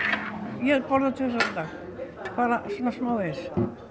ég borða tvisvar á dag bara svo smávegis